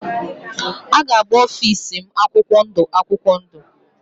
A ga-agba ofịs m akwụkwọ ndụ akwụkwọ ndụ.